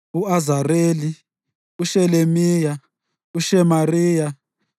u-Azareli, uShelemiya, uShemariya,